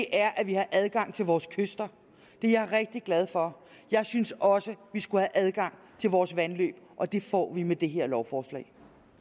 er at vi har adgang til vores kyster det er jeg rigtig glad for jeg synes også at vi skal have adgang til vores vandløb og det får vi med det her lovforslag